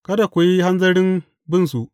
Kada ku yi hanzarin binsu.